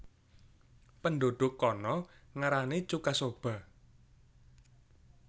Penduduk kana ngarani chuka soba